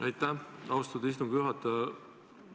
Aitäh, austatud istungi juhataja!